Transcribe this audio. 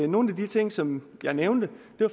nogle af de ting som jeg nævnte